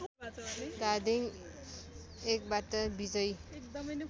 धादिङ १बाट विजयी